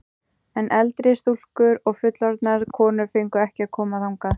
En eldri stúlkur og fullorðnar konur fengu ekki að koma þangað.